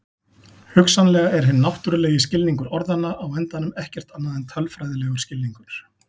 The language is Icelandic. Hugsanlega er hinn náttúrulegi skilningur orðanna á endanum ekkert annað en tölfræðilegur skilningur.